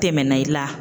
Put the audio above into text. Tɛmɛna i la